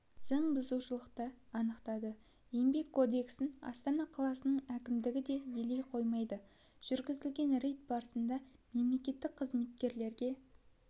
заңбұзушылықты анықтады еңбек кодексін астана қаласының әкімдігі де елей қоймайды жүргізілген рейд барысында мемлекеттік қызметкерлерге